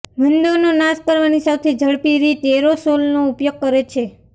વંદોનો નાશ કરવાની સૌથી ઝડપી રીત એરોસોલનો ઉપયોગ કરે છે